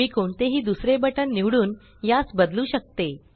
मी कोणतेही दुसरे बटन निवडून यास बदलू शकते